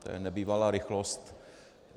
To je nebývalá rychlost.